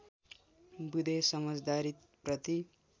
बुँदे समझदारी प्रति